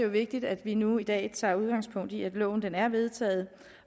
vigtigt at vi nu i dag tager udgangspunkt i at loven er vedtaget